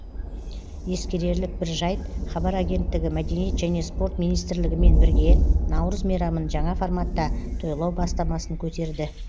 ескерерлік бір жайт хабар агенттігі мәдениет және спорт министрлігімен бірге наурыз мейрамын жаңа форматта тойлау бастамасын көтерді